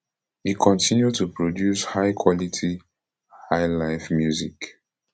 e continue to produce highquality highlife music